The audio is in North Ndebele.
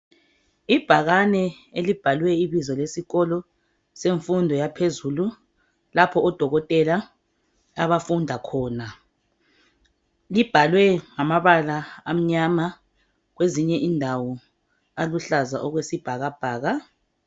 Ibhakani elibhale ibizo lesikolo semfundo yaphezulu, lapho odokotela abafunda khona. Libhalwe ngamabala amnyama, kwezinye indawo uluhlaza okwesibhakabhaka.